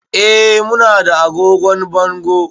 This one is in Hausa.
Eh, mu na da agogon bango